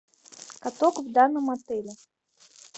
каток в данном отеле